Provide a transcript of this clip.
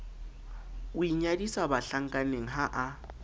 o inyadisa bahlankaneng ha a